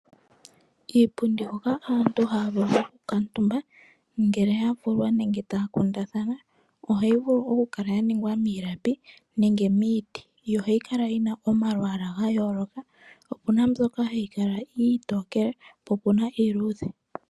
Iipundi hoka aantu haya vulu oku kuutumba ngele ya vulea nenge taya kundathana, ohayi vulu oku kala ya ningwa miilapi nenge miiti, yo ohayi kala yina omalwaala ga yooloka, opuna mbyoka hayi kala iitokele, po opuna iiluudhe.